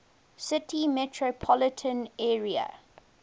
city metropolitan area